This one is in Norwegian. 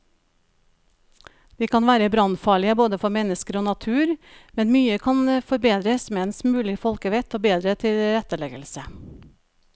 De kan være brannfarlige både for mennesker og natur, men mye kan forbedres med en smule folkevett og bedre tilretteleggelse.